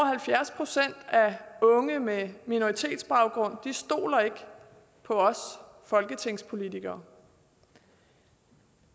halvfjerds procent af unge med minoritetsbaggrund stoler ikke på os folketingspolitikere